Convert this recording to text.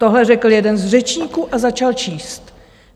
Tohle řekl jeden z řečníků a začal číst.